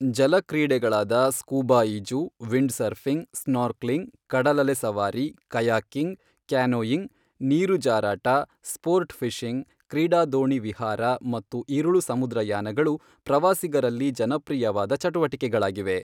ಜಲ ಕ್ರೀಡೆಗಳಾದ ಸ್ಕೂಬಾ ಈಜು, ವಿಂಡ್ಸರ್ಫಿಂಗ್, ಸ್ನೋರ್ಕ್ಲಿಂಗ್, ಕಡಲಲೆ ಸವಾರಿ, ಕಯಾಕಿಂಗ್, ಕ್ಯಾನೋಯಿಂಗ್, ನೀರುಜಾರಾಟ, ಸ್ಪೋರ್ಟ್ಫಿಶಿಂಗ್, ಕ್ರೀಡಾದೋಣಿ ವಿಹಾರ ಮತ್ತು ಇರುಳು ಸಮುದ್ರಯಾನಗಳು ಪ್ರವಾಸಿಗರಲ್ಲಿ ಜನಪ್ರಿಯವಾದ ಚಟುವಟಿಕೆಗಳಾಗಿವೆ.